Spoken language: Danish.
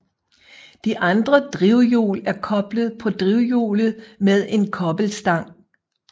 De andre drivhjul er koblet på drivhjulet med en kobbelstang